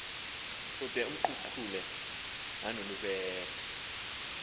ude amkruqule nonobubele